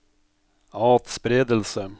atspredelse